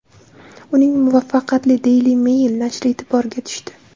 Uning muvaffaqiyati Daily Mail nashri e’tiboriga tushdi.